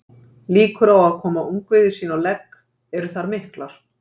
Líkur á að koma ungviði sínu á legg eru þar miklar.